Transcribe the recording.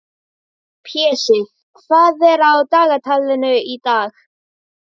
Pési, hvað er á dagatalinu í dag?